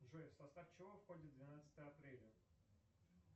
джой в состав чего входит двенадцатое апреля